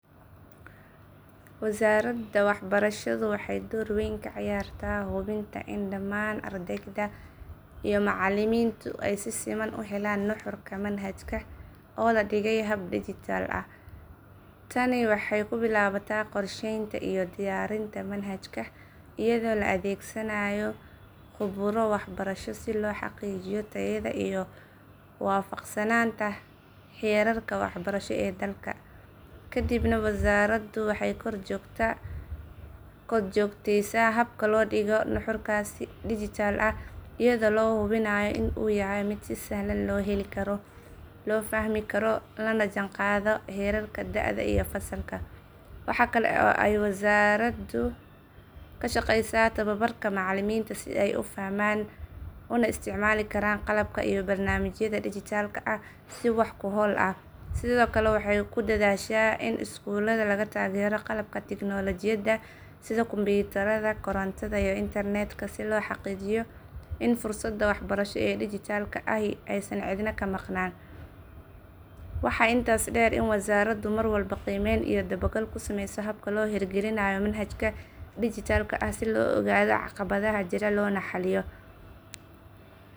Wasaaradda waxbarashadu waxay door weyn ka ciyaartaa hubinta in dhammaan ardayda iyo macallimiintu ay si siman u helaan nuxurka manhajka oo la dhigey hab dijitaal ah. Tani waxay ku bilaabataa qorsheynta iyo diyaarinta manhajka iyadoo la adeegsanayo khuburo waxbarasho si loo xaqiijiyo tayada iyo waafaqsanaanta heerarka waxbarasho ee dalka. Kadibna wasaaraddu waxay kor joogteysaa habka loo dhigayo nuxurkaas si dijitaal ah iyadoo la hubinayo in uu yahay mid si sahlan loo heli karo, loo fahmi karo, lana jaanqaadaya heerarka da’da iyo fasalka. Waxa kale oo ay wasaaraddu ka shaqeysaa tababarka macallimiinta si ay u fahmaan una isticmaali karaan qalabka iyo barnaamijyada dijitaalka ah si wax ku ool ah. Sidoo kale, waxay ku dadaashaa in iskuullada laga taageero qalabka tiknoolajiyadda sida kumbiyuutarada, korontada, iyo internetka si loo xaqiijiyo in fursadda waxbarasho ee dijitaalka ahi aysan cidna ka maqnaan. Waxaa intaas dheer in wasaaraddu mar walba qiimeyn iyo dabagal ku sameyso habka loo hirgelinayo manhajka dijitaalka ah si loo ogaado caqabadaha jira loona xalliyo. Dhammaan arrimahan waxay caddeyn u yihiin sida ay wasaaraddu uga go’an tahay in arday kasta uu si siman u helo waxbarasho tayo leh oo casri ah.